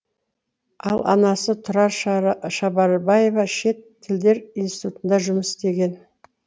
ал анасы тұрар шабарбаева шет тілдер институтында жұмыс істеген